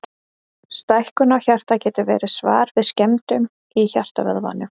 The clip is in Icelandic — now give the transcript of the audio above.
Stækkun á hjarta getur verið svar við skemmdum í hjartavöðvanum.